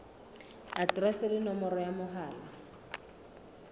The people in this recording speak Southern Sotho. aterese le nomoro ya mohala